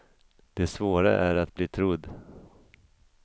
Det svåra är att bli trodd.